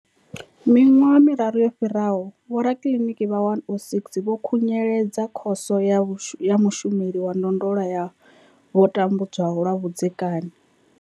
Miṅwaha miraru yo fhiraho, vhorakiliniki vha 106 vho khunyeledza Khoso ya Mushumeli wa Ndondolo ya vho tambudzwaho lwa vhudzekani.